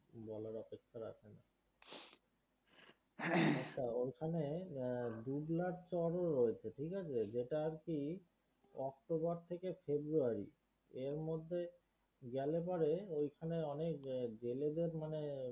আচ্ছা ওইখানে হম দুবলার চর ও রয়েছে ঠিকআছে যেটা আর কি অক্টোবর থেকে ফেব্রয়ারী এর মধ্যে গেলে পরে ওইখানে অনেক জেলেদের মানে